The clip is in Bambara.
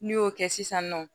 N'i y'o kɛ sisan nɔ